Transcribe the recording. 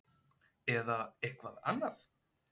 Eða eitthvað annað?